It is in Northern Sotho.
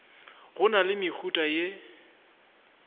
go na le mehuta ye